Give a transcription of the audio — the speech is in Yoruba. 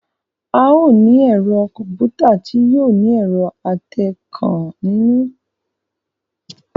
A o ní ẹ̀rọ kọ̀m̀pútà tí yóò ní ẹ̀rọ atẹǹkan nínú